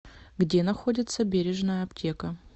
где находится бережная аптека